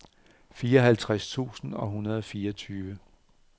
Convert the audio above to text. fireoghalvtreds tusind et hundrede og fireogfyrre